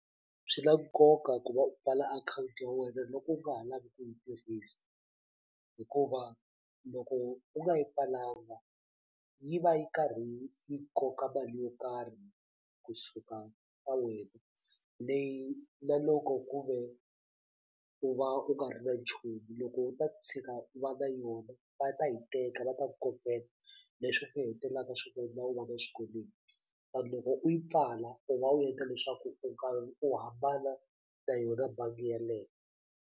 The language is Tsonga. Swi na nkoka ku va u pfala akhawunti ya wena loko u nga ha lavi ku yi tirhisa hikuva loko u nga yi pfalanga yi va yi karhi yi yi koka mali yo karhi kusuka swa wena leyi na loko ku ve u va u nga ri na nchumu loko u ta tshika u va na yona va ta yi teka va ta ku kokela leswi nga hetelaka swi endla u va na swikweleti kambe loko u yi pfala u va u endla leswaku u karhi u hambana na yona bangi yeleyo.